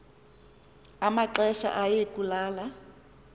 amaxesha aye kulala